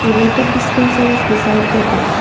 The water dispenser is beside the desk.